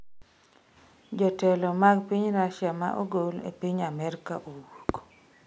Jotelo mag piny Russia ma ogol e piny Amerka owuok